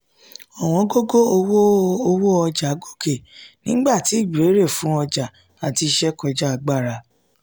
ọ̀wọ́ngógó owó owó ọjà gòkè nígbà tí ìbéèrè fún ọjà àti iṣẹ́ kọjá agbára